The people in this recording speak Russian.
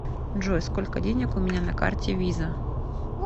джой сколько денег у меня на карте виза